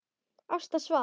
Ásta svaf.